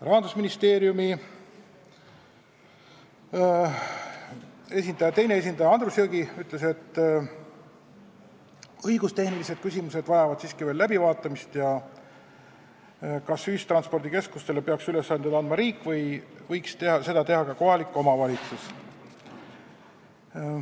Rahandusministeeriumi teine esindaja Andrus Jõgi ütles, et õigustehnilised küsimused vajavad veel läbivaatamist ja tuleks mõelda, kas ühistranspordikeskustele peaks ülesandeid andma riik või võiks seda teha ka kohalik omavalitsus.